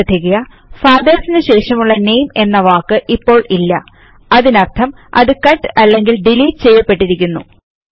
ശ്രദ്ധിക്കുക FATHERSനു ശേഷമുള്ള നാമെ എന്ന വാക്ക് ഇപ്പൊൾ ഇല്ല അതിനർഥം അത് കട്ട് അല്ലെങ്കിൽ ഡിലീറ്റ് ചെയ്യപെട്ടിരിക്കുന്നു